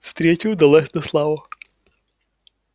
встреча удалась на славу